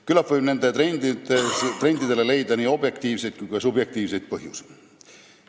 Küllap võib nendele trendidele leida nii objektiivseid kui ka subjektiivseid põhjuseid.